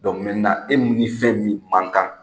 e ni ni fɛn mun man kan